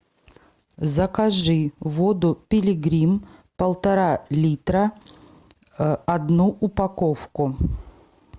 закажи воду пилигрим полтора литра одну упаковку